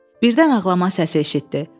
Birdən ağlama səsi eşitdi.